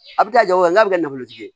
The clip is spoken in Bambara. A bɛ kɛ jagoya n'a bɛ kɛ nafolotigi ye